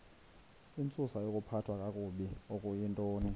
intsusayokuphathwa kakabi okuyintoni